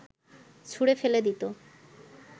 ছুঁড়ে ফেলে দিত